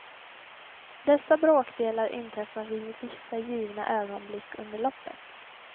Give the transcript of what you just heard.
Dessa bråkdelar inträffar vid vissa givna ögonblick under loppet.